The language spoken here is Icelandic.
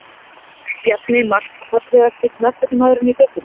Bjarni Mark Fallegasti knattspyrnumaðurinn í deildinni?